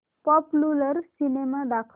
popular cinema दाखव